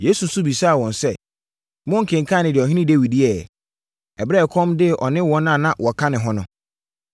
Yesu nso bisaa wɔn sɛ, “Monkenkanee deɛ Ɔhene Dawid yɛeɛ, ɛberɛ a ɛkɔm dee ɔne wɔn a na wɔka ne ho no?